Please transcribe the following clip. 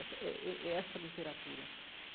Essa é é é essa literatura.